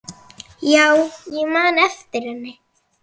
Já, ég man eftir henni.